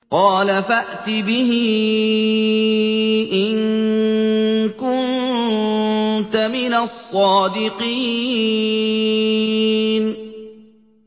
قَالَ فَأْتِ بِهِ إِن كُنتَ مِنَ الصَّادِقِينَ